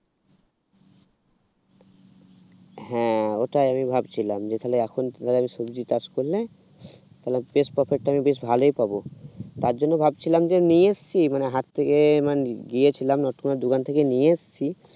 হ্যাঁ ওটাই আমি ভাবছিলাম যে তাহলে এখন ধর সবজি চাষ করলাম তাহলে বেশ profit টা আমি বেশ ভালোই পাবো তার জন্য ভাবছিলাম যে নিয়ে এসেছি মানে হাত থেকে গিয়েছিলাম নটকোনা দোকান থেকে নিয়ে এসেছি